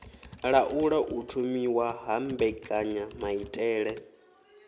laula u thomiwa ha mbekanyamaitele